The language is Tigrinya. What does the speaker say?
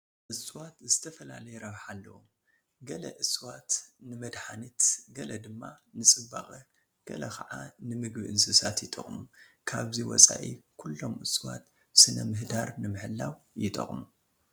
እፅዋት ዝተፈላለየ ረብሓ ኣለዎም፡፡ ገለ እጽዋት ንመድሓኒት ገለ ድማ ንፅባቐ ገለ ከዓ ንምግቢ እንስሳት ይጠቕሙ፡፡ ካብዚ ወፃኢ ኩሎም እፅዋት ስነ ምህዳር ንምሕላው ይጠቕሙ፡፡